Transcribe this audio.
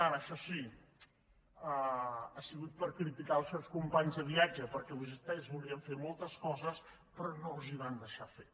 ara això sí ha sigut per criticar els seus companys de viatge perquè vostès volien fer moltes coses però no els les van deixar fer